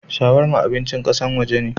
Shawarma abincin kassan waje ne.